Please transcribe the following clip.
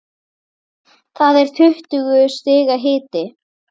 Það er tuttugu stiga hiti.